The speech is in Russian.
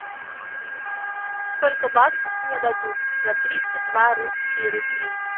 сколько баксов мне дадут за тридцать два русские рубли